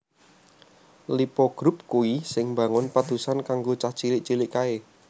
Lippo Group kui sing mbangun padusan kanggo cah cilik cilik kae